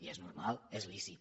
i és normal és lícit